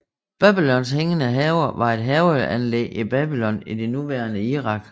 Babylons hængende haver var et haveanlæg i Babylon i det nuværende Irak